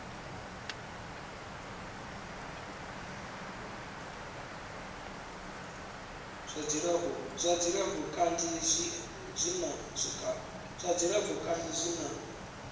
zwa dzilafho kanzhi zwi na